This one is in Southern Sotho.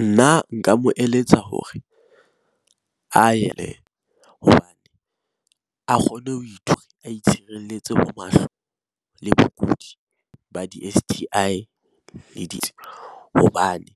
Nna nka mo eletsa hore a ye hobane a kgone ho a itshireletse ho mahloko le bokudi ba di- S_T_I T le ditsebi hobane